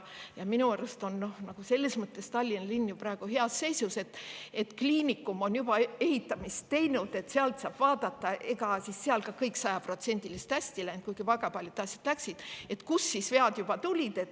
Minu arust on Tallinna linn praegu selles mõttes heas seisus, et kliinikum on juba ehitusega ja saab vaadata – ega seal ka kõik sajaprotsendiliselt hästi ei läinud, kuigi väga paljud asjad läksid –, kus seal vead tulid.